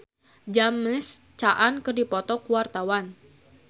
Inul Daratista jeung James Caan keur dipoto ku wartawan